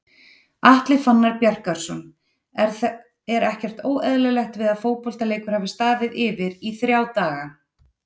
Atli Fannar Bjarkason Er ekkert óeðlilegt við að fótboltaleikur hafi staðið yfir í ÞRJÁ DAGA??